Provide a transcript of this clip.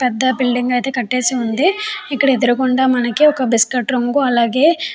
పెద్ద బిల్డింగ్ అయతె కాటేసి ఉంది. ఇక్కడ ఎదురుంగ మనకి ఒక బిస్కట్ రంగు అలాగే --